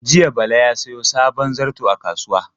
Jiya Bala ya sayo sabon zarto a kasuwa.